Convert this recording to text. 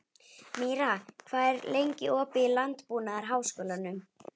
Míra, hvað er lengi opið í Landbúnaðarháskólanum?